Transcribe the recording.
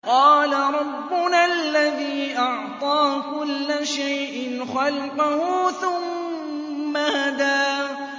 قَالَ رَبُّنَا الَّذِي أَعْطَىٰ كُلَّ شَيْءٍ خَلْقَهُ ثُمَّ هَدَىٰ